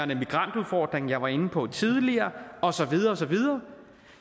migrantudfordringen jeg var inde på tidligere og så videre og så videre